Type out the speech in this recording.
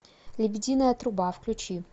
лебединая труба включи